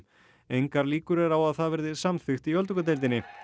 engar líkur eru á að það verði samþykkt í öldungadeildinni